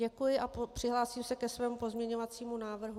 Děkuji a přihlásím se ke svému pozměňovacímu návrhu.